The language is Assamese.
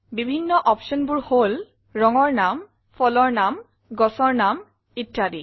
বিভিন্ন optionবোৰ হল ৰঙৰ নাম ফলৰ নাম গছৰ নাম ইত্যাদি